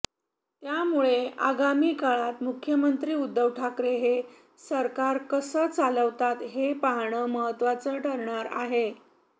त्यामुळे आगामी काळात मुख्यमंत्री उद्धव ठाकरे हे सरकार कसं चालवतात हे पाहणं महत्वाचं ठरणार आहे